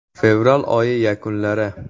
Fevral oyi yakunlari.